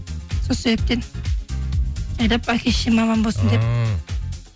сол себептен жайлап әке шешем аман болсын деп ааа